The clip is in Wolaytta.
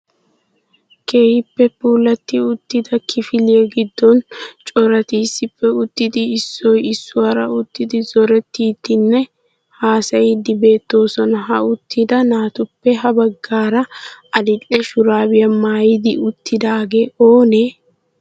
Keehippe puulati uttida kifiliya giddon corati issippe uttidi issoy issuwaara uttidi zorettiidinne haassayiidi beettoosona. Ha uttida naatuppe ha baggaara adil"e shurabiyaa maayidi uttidaage oonee?